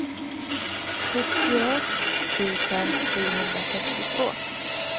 sjuttioett tusen sjuhundrasextiotvå